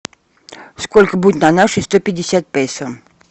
сколько будет на наши сто пятьдесят песо